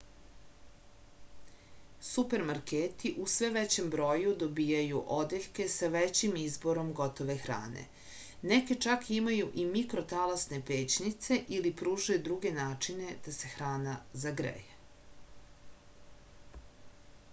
supermarketi u sve većem broju dobijaju odeljke sa većim izborom gotove hrane neki čak imaju i mikrotalasne pećnice ili pružaju druge načine da se hrana zagreje